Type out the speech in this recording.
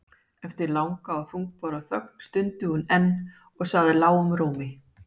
Eftir langa og þungbæra þögn stundi hún enn og sagði lágum rómi